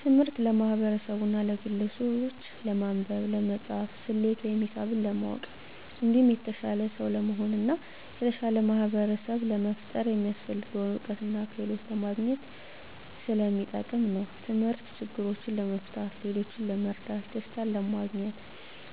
ትምህርት ለማህበርሰቡና ለግለሰቡች ለማንበብ፣ ለመፃፍና፣ ሰሌት ወይም ሂሳብ ለማወቅ እንዲሁም የተሻለ ሰው ለመሆን እና የተሻለ ማህበርሰብ ለመፍጠር የሚያሰፍልገውን እውቀትና ክህሎት ለማግኝት ሰለሚጠቅም ነው። ተምህርት ችግሮችን ለመፍታት፣ ሌሎችን ለመርዳት፣ ደሰታንለማግኘት፣